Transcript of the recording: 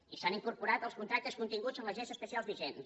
i s’han incorporat els contractes continguts en les lleis especials vigents